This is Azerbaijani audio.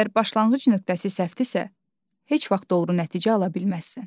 Əgər başlanğıc nöqtəsi səhvdirsə, heç vaxt doğru nəticə ala bilməzsən.